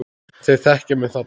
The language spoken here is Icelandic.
Þeir þekkja mig þarna.